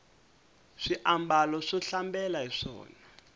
swi ambala swo hlambela hiswona